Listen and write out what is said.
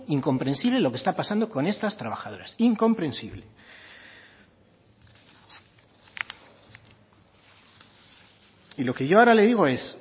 incomprensible lo que está pasando con estas trabajadoras incomprensible y lo que yo ahora le digo es